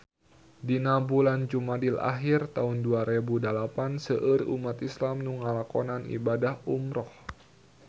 Dina bulan Jumadil ahir taun dua rebu dalapan seueur umat islam nu ngalakonan ibadah umrah